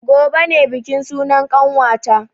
Gobe ne bikin sunan ƙanwata